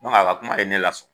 dɔnke a ka kuma ye ne la sɔn